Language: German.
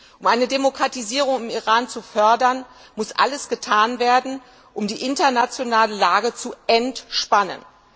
Um eine Demokratisierung im Iran zu fördern, muss alles getan werden, um die internationale Lage zu entspannen.